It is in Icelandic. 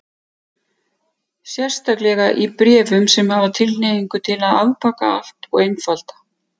Sérstaklega í bréfum sem hafa tilhneigingu til að afbaka allt og einfalda.